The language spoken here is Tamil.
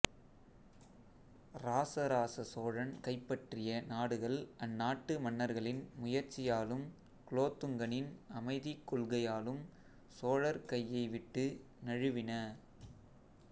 இராசராச சோழன் கைப்பற்றிய நாடுகள் அந்நாட்டு மன்னர்களின் முயற்சியாலும் குலோத்துங்கனின் அமைதிக் கொள்கையாலும் சோழர் கையை விட்டு நழுவின